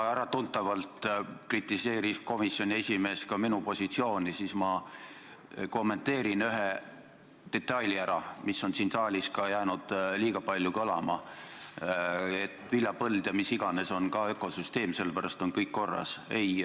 Kuna äratuntavalt kritiseeris komisjoni esimees ka minu positsiooni, siis ma kommenteerin üht detaili, mis on siin saalis jäänud liiga palju kõlama: et viljapõld ja mis iganes muu on ka ökosüsteem ja sellepärast on kõik korras.